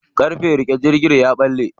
Ƙarfen riƙe jirgin ya ɓalle.